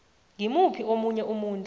ngimuphi omunye umuntu